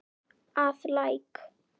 að Læk.